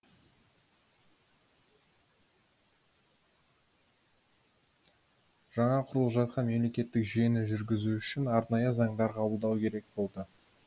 жаңа құрылып жатқан мемлекеттік жүйені жүргізу үшін арнайы заңдар қабылдау керек болды